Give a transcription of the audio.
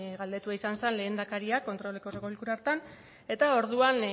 galdetua izan zen lehendakariak kontroleko osoko bilkuran hartan eta orduan